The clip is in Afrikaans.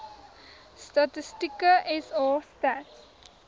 statistieke sa stats